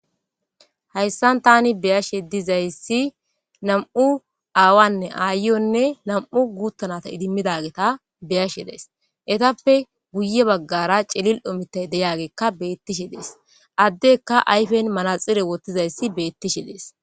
hayssan tani beyashe dizayssi nam7u aawanne aayonne nam7u guuttanata idimmidageta beyashe dees etappe guye baggara celil omitay deyageekka beettishe dees addeka ayfen malaxire wottizayssi beettishe dees